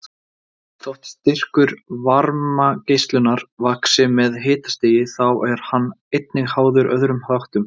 Þótt styrkur varmageislunar vaxi með hitastigi þá er hann einnig háður öðrum þáttum.